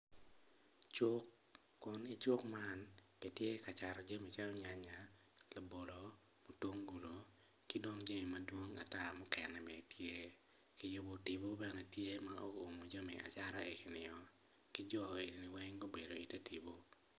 Cuk kun icuk man kitye ka cato jami calo nyanya labolo mutungulu ki dong jami madwong ata mukene bene tye kiyubo tipo bene tye ma owumo jami acata eginio ki jo egoni weng gubedo ite tipo.